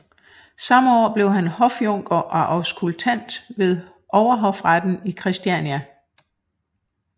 Samme år blev han hofjunker og auskultant ved Overhofretten i Christiania